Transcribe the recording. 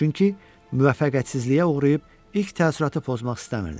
Çünki müvəffəqiyyətsizliyə uğrayıb ilk təəssüratı pozmaq istəmirdim.